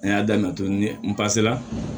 A y'a daminɛ to ni n pasela